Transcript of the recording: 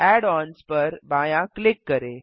add ons पर बायाँ click करें